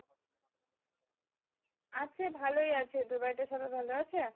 আছে ভালোই আছে তোর বাড়িতে সবাই ভালো আছে?